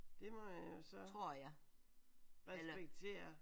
Det må man jo så respektere